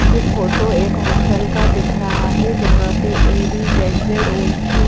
जो फोटो एक हॉस्टल का दिख रहा है जहां पे ए_बी_जेड_जेड_ओ_सी --